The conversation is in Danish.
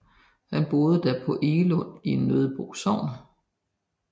Han boede da på Egelund i Nøddebo Sogn